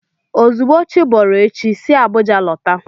Ozugbo chiboro echi, si Abuja lọta!